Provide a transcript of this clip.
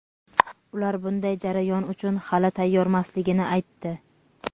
Ular bunday jarayon uchun hali tayyormasligini aytdi.